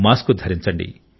mask ధరించండి